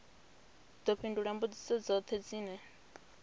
ḓo fhindula mbudziso dzoṱhe dzine